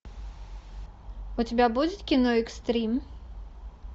у тебя будет кино экстрим